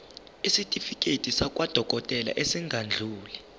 isitifiketi sakwadokodela esingadluli